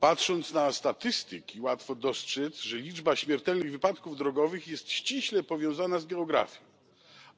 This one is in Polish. Patrząc na statystyki, łatwo dostrzec, że liczba śmiertelnych wypadków drogowych jest ściśle powiązana z geografią,